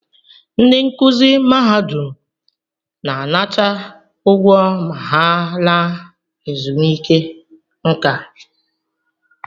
Ndị nkụzi mahadum na-anata ụgwọ ma ha laa ezumike nká